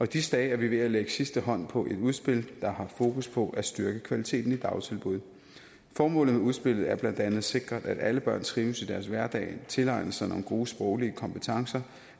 disse dage er vi ved at lægge sidste hånd på et udspil der har fokus på at styrke kvaliteten i dagtilbud formålet med udspillet er blandt andet at sikre at alle børn trives i deres hverdag tilegner sig nogle gode sproglige kompetencer